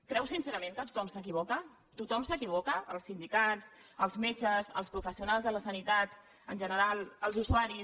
creu sincerament que tothom s’equivoca tothom s’equivoca els sindicats els metges els professionals de la sanitat en general els usuaris